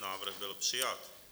Návrh byl přijat.